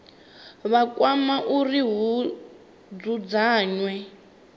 vha kwama uri hu dzudzanywe